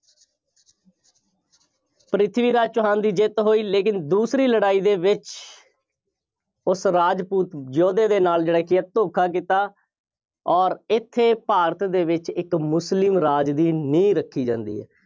ਪ੍ਰਿਥਵੀ ਰਾਜ ਚੌਹਾਨ ਦੀ ਜਿੱਤ ਹੋਈ। ਲੇਕਿਨ ਦੂਸਰੀ ਲੜਾਈ ਦੇ ਵਿੱਚ ਉਸ ਰਾਜਪੂਤ ਯੋਧੇ ਦੇ ਨਾਲ ਜਿਹੜਾ ਕਿ ਹੈ ਧੋਖਾ ਕੀਤਾ ਔਰ ਇੱਥੇ ਭਾਰਤ ਦੇ ਵਿੱਚ ਇੱਕ ਮੁਸਲਿਮ ਰਾਜ ਦੀ ਨੀਂਹ ਰੱਖੀ ਜਾਂਦੀ ਹੈ।